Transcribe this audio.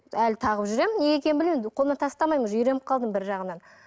әлі тағып жүремін неге екенін білмеймін қолымнан тастамаймын уже үйреніп қалдым бір жағынан